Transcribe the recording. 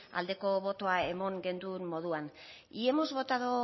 aldeko botoa eman genuen moduan y hemos votado